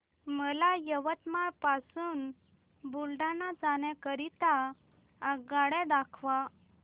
मला यवतमाळ पासून बुलढाणा जाण्या करीता आगगाड्या दाखवा